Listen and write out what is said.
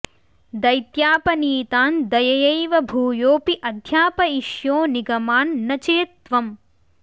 दैत्यापनीतान् दययैव भूयोऽपि अध्यापयिष्यो निगमान् न चेत् त्वम्